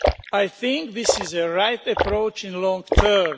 I think this is the right approach in the long term.